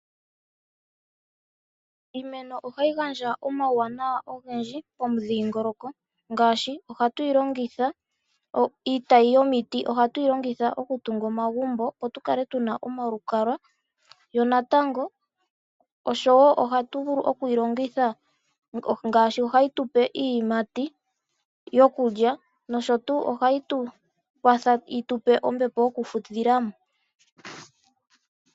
Iimeno ohayi gandja omauwanawa ogendji pomudhingoloko ngaashi ohatu yi longitha iitayi yomiti okutunga omagumbo opo tukale tuna omalukalwa yo natango ohatu vulu okuyi longitha moku tupa iiyimati noku tupa ombepo yokufudhilamo.